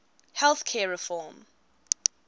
health care reform